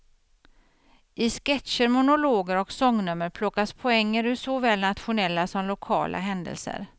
I sketcher, monologer och sångnummer plockas poänger ur såväl nationella som lokala händelser.